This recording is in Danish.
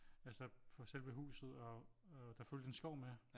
Altså for selve huset og der fulgte en skov med